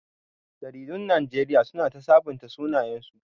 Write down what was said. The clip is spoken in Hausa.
Jaridun Najeriya su na ta sabunta sunayensu